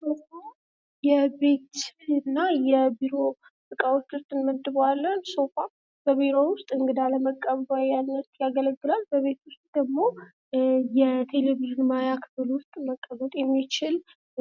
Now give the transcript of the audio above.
ሶፋ የቤት እና የቢሮ እቃዎች ዉስጥ እንመድበዋለን:: ሶፋ በቢሮ ዉስጥ እንግዳ ለመቀበል ያገለግላል:: በቤት ዉስጥ ደግሞ የቴሌቭዥን ማያ ክፍል ዉስጥ ሊቀመጥ የሚችል